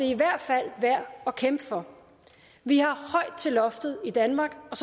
i hvert fald værd at kæmpe for vi har højt til loftet i danmark og